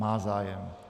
Má zájem.